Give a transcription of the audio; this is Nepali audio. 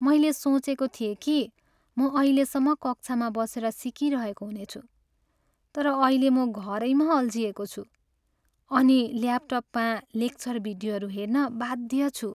मैले सोचेको थिएँ कि म अहिलेसम्म कक्षामा बसेर सिकिरहेको हुनेछु, तर अहिले म घरैमा अल्झिएको छु अनि ल्यापटपमा लेक्चर भिडियोहरू हेर्न बाध्य छु।